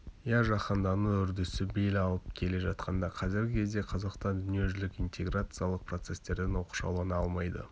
иә жаһандану үрдісі бел алып келе жатқан қазіргі кезде қазақстан дүниежүзілік интеграциялық процестерден оқшаулана алмайды